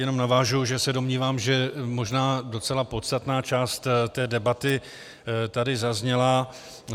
Jenom navážu, že se domnívám, že možná docela podstatná část té debaty tady zazněla.